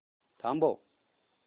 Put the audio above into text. थांब